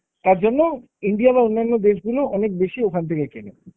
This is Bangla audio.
তার জন্য India বা অন্যান্য দেশগুলো অনেক বেশি ওখান থেকে কেনে।